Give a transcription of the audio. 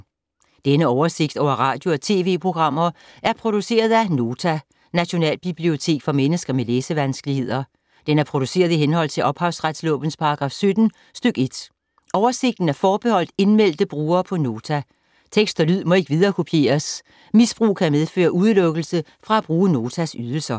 Denne oversigt over radio og TV-programmer er produceret af Nota, Nationalbibliotek for mennesker med læsevanskeligheder. Den er produceret i henhold til ophavsretslovens paragraf 17 stk. 1. Oversigten er forbeholdt indmeldte brugere på Nota. Tekst og lyd må ikke viderekopieres. Misbrug kan medføre udelukkelse fra at bruge Notas ydelser.